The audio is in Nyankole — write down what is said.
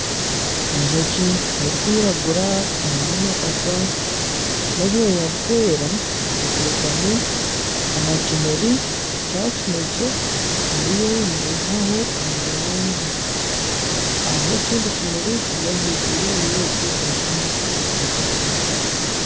Enjoki erikwiragura eine amapapa n'obwoya burikwera etekami aha kimuri kya kinekye eriyo neyihaho omweyangye. Hariho ekindi kimuri kiri ahiguru yekyo eky'enjoki etekamireho.